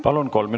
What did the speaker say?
Palun!